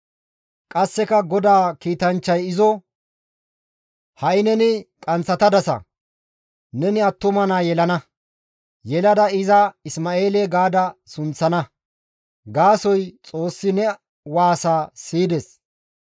Qasseka GODAA kiitanchchay izo, «Ha7i neni qanththatadasa; neni attuma naa yelana; yelada iza Isma7eele gaada sunththana; gaasoykka Xoossi ne waasaa siyides.